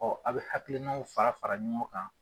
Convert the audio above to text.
a bi hakilinaw fara fara ɲɔgɔn kan